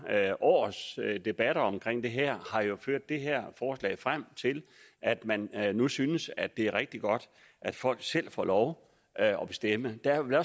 års debatter omkring det her har jo ført det her forslag frem til at man nu synes at det er rigtig godt at folk selv får lov at bestemme der er vel